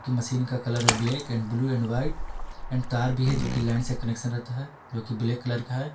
Machine का colour black and blue and white and तार भी है जो की लाइन से कनेक्शन रहता है जो की ब्लैक कलर का है।